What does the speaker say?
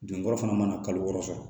Don kɔrɔ fana mana kalo wɔɔrɔ sɔrɔ